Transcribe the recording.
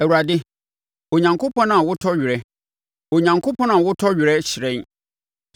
Awurade, Onyankopɔn a wotɔ werɛ, Onyankopɔn a wotɔ werɛ, hyerɛn.